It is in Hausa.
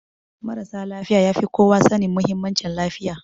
Marasa lafiya ya fi kowa sanin muhimmancin lafiya